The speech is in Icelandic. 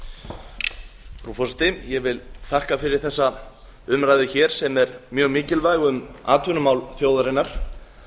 frú forseti ég vil þakka fyrir þessa umræðu hér sem er mjög mikilvæg um atvinnumál þjóðarinnar